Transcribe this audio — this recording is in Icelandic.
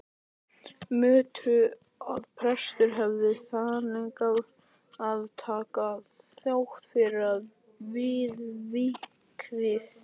Mörtu að prestur hefði þverneitað að taka þóknun fyrir viðvikið.